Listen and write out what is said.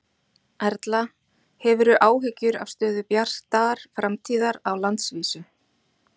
Erla: Hefurðu áhyggjur af stöðu Bjartar framtíðar á landsvísu?